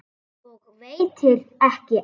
Og veitir ekki af.